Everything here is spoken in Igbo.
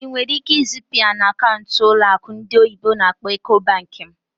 Ị nwere ike izipu ya na akaụntụ ụlọ akụ ndị oyibo n'akpọ "Ecobank" m?